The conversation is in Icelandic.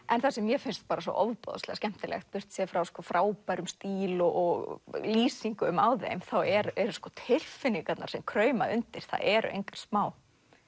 en það sem mér finnst svo ofboðslega skemmtilegt burtséð frá frábærum stíl og lýsingum á þeim þá eru sko tilfinningarnar sem krauma undir það eru engar smá